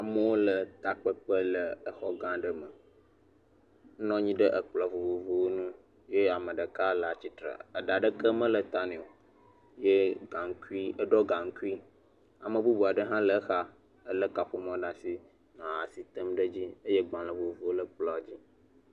Amewo le takpekpe le xɔ gẽ aɖe me. Wonɔ anyi ɖe kplɔ̃ vovovowo ŋu eye ame ɖeka le atsitre, ɖa aɖeke mele ta nɛ o ye gaŋkui eɖɔ gaŋkui. Ame bubu aɖe hã le exa lé kaƒomɔ ɖe asi nɔ asi tem ɖe edzi ye agbalẽ vovovowo le kplɔ̃a dzi.